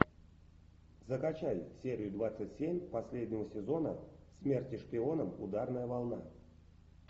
закачай серию двадцать семь последнего сезона смерти шпионам ударная волна